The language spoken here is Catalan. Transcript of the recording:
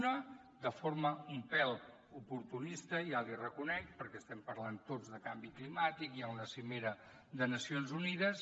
una de forma un pèl oportunista ja l’hi reconec perquè estem parlant tots de canvi climàtic hi ha una cimera de nacions unides